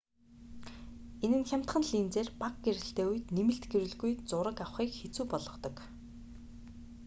энэ нь хямдхан линзээр бага гэрэлтэй үед нэмэлт гэрэлгүй зураг авахыг хэцүү болгодог